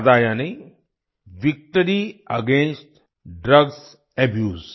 वादा यानी victory against drugs abuse